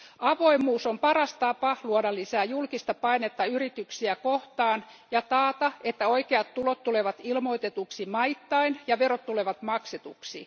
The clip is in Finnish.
Avoimuus on paras tapa luoda lisää julkista painetta yrityksiä kohtaan ja taata, että oikeat tulot tulevat ilmoitetuksi maittain ja verot tulevat maksetuksi.